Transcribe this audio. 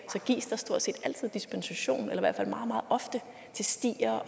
gives der stort set altid dispensation eller i hvert fald meget meget ofte til stier